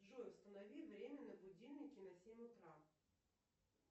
джой установи время на будильнике на семь утра